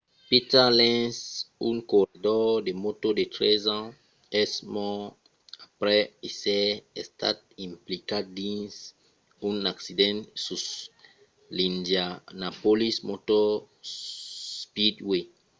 peter lenz un corredor de mòto de 13 ans es mòrt aprèp èsser estat implicat dins un accident sus l'indianapolis motor speedway